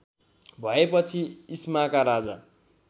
भएपछि इस्माका राजा